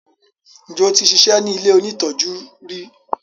njé o tí ṣiṣẹ ní ilẹ òní tọjú rí?